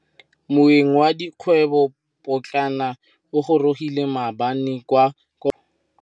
Moêng wa dikgwêbô pôtlana o gorogile maabane kwa kopanong ya dikgwêbô.